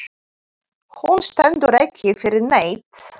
Hún stendur ekki fyrir neitt.